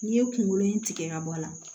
N'i ye kunkolo in tigɛ ka bɔ a la